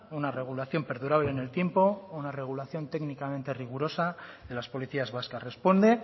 una regulación perdurable en el tiempo una regulación técnicamente rigurosa de las policías vascas responde